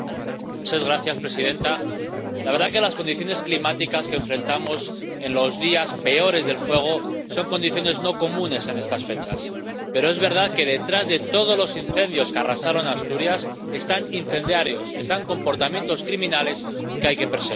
Señora presidenta, la verdad es que las condiciones climáticas que enfrentamos en los días peores del fuego son condiciones no comunes en estas fechas, pero es verdad que, detrás de todos los incendios que arrasaron Asturias, están incendiarios, están comportamientos criminales que hay que perseguir.